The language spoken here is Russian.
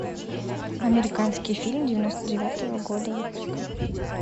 американский фильм девяносто девятого года выпуска